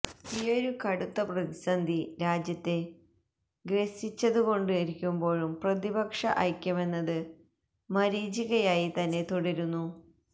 ഈയൊരു കടുത്ത പ്രതിസന്ധി രാജ്യത്തെ ഗ്രസിച്ചുകൊണ്ടിരിക്കുമ്പോഴും പ്രതിപക്ഷ ഐക്യമെന്നത് മരീചികയായി തന്നെ തുടരുന്നു